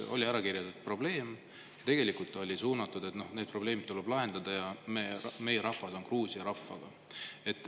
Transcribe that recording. Oli ära kirjeldatud probleem ja tegelikult oli see suunatud sellele, et need probleemid tuleb lahendada, ja rahvas on Gruusia rahvaga.